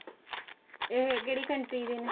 ਇਹ ਕਿਹੜੀ country ਦੇ ਨੇ